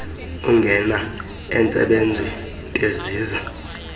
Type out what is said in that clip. ungena entsebenzweni beziza